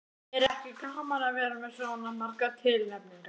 Er ekki gaman að vera með svona margar tilnefningar?